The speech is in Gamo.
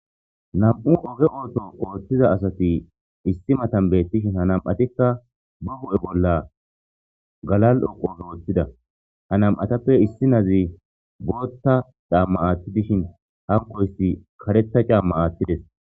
nam'u oge ooto ooththiza asati issi matan beettishin ha nam'atikka bu hu'e bolla galal'oqoza woththida ha nam'atappe issi nazi bootta xaamma aatti dishin hankoyssi karetha caamma aattides